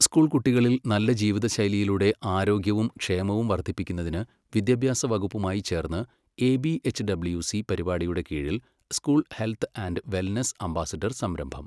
School കുട്ടികളിൽ നല്ല ജീവിതശൈലിയിലൂടെ ആരോഗ്യവും ക്ഷേമവും വർധിപ്പിക്കുന്നതിന് വിദ്യാഭ്യാസ വകുപ്പുമായി ചേർന്ന് എ.ബി എച്ച്.ഡബ്ല്യു.സി പരിപാടിയുടെ കീഴിൽ school health and wellness ambassador സംരംഭം.